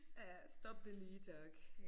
Ja stop det lige tak